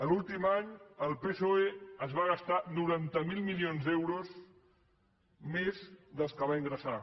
l’últim any el psoe es va gastar noranta miler milions d’euros més dels que va ingressar